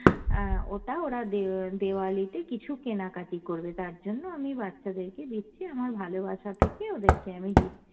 অ্যাঁ ওটা ওরা দে~ দেওয়ালিতে কিছু কেনা কাটি করবে তার জন্য আমি বাচ্চাদেরকে দিচ্ছি, আমার ভালোবাসা থেকে ওদেরকে আমি দিচ্ছি।